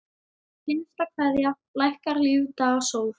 HINSTA KVEÐJA Lækkar lífdaga sól.